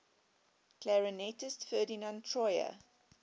clarinetist ferdinand troyer